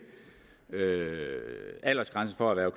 aldersgrænsen for at